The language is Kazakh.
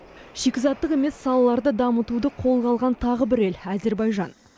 шикізаттық емес салаларды дамытуды қолға алған тағы бір ел әзербайжан